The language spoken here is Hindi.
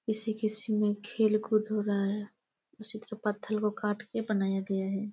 किसी-किसी में खेल कूद हो रहा हैं इसी तरह पत्थल को काट कर बनाया गया हैं।